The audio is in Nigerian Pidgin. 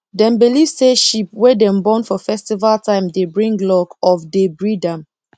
dem believe say sheep wey dem born for festival time dey bring luck of dey breed am